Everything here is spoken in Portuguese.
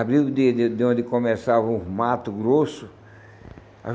Abriu de de de onde começavam os matos grossos.